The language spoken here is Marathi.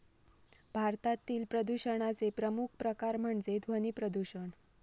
भारतातील प्रदूषणाचे प्रमुख प्रकार म्हणजे ध्वनी प्रदूषण.